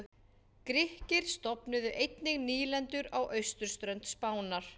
Grikkir stofnuðu einnig nýlendur á austurströnd Spánar.